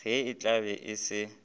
ga e hlabe e se